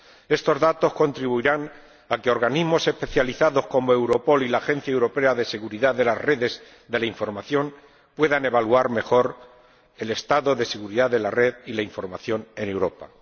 Estos datos contribuirán a que organismos especializados, como Europol y la Agencia Europea de Seguridad de las Redes de la Información, puedan evaluar mejor el estado de seguridad de la red y la información en Europa.